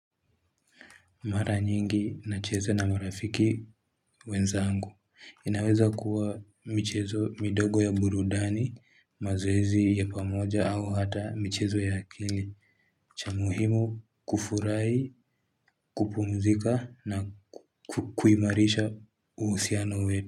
Mara nyingi nacheza na marafiki wenzangu. Inawezakuwa michezo midogo ya burudani, mazoezi ya pamoja au hata michezo ya akili. Cha muhimu kufurahi kupumzika na kuimarisha uhusiano wetu.